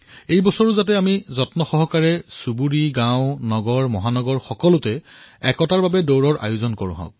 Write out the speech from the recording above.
এই বৰ্ষতো আমি প্ৰত্যয়পূৰ্ব নিজৰ গাঁৱত চহৰত মহানগৰত ৰাণ ফৰ ইউনিটীৰ আয়োজন কৰিম